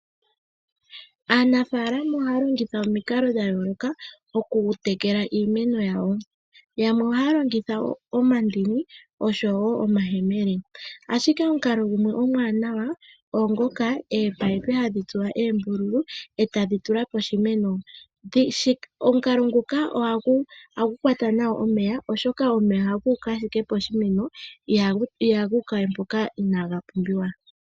Aanafalama ohalongitha ominkalo dhayoloka. Okutekela iimeno yawo yamwe ohalongitha oomandini, oshowo oomayemele ashike omukalo gimwe omwanawa epayipi hadhi tsuwa ombululu e tadhitulwa po shimeno. Omukalo nguka ohagu kwata nawa omeya oshoka omeya haguka ashike po shimeno iha guka mpoka inaga mpumbiwa.